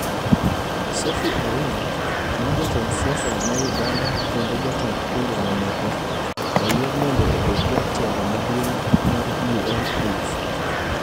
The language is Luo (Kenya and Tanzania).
Sophy Awino ma Jatend siasa ma Uganda kendo jatend pinje mamoko, oyier mondo obed jatelo maduong' mar UNAIDS